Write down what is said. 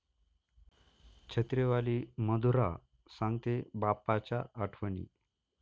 छत्रीवाली मधुरा सांगतेय बाप्पाच्या आठवणी